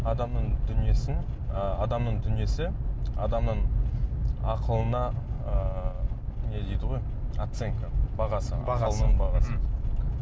адамның дүниесін ы адамның дүниесі адамның ақылына ыыы не дейді ғой оценка бағасы оның бағасы мхм